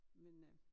Men øh